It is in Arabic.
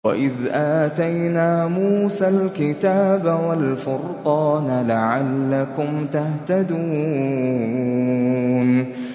وَإِذْ آتَيْنَا مُوسَى الْكِتَابَ وَالْفُرْقَانَ لَعَلَّكُمْ تَهْتَدُونَ